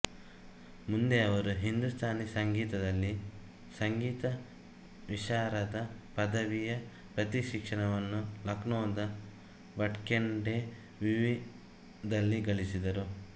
ಮುಂದೆ ಅವರು ಹಿಂದೂಸ್ಥಾನಿ ಸಂಗೀತದಲ್ಲಿ ಸಂಗೀತ ವಿಶಾರದ ಪದವಿಯ ಪ್ರಶಿಕ್ಷಣವನ್ನು ಲಖ್ನೊದ ಭಟ್ಖಂಡೆ ವಿವಿ ದಲ್ಲಿ ಗಳಿಸಿದರು